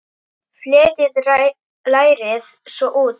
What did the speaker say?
Fletjið lærið svo út.